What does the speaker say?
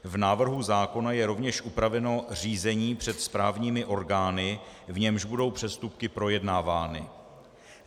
V návrhu zákona je rovněž upraveno řízení před správními orgány, v němž budou přestupky projednávány.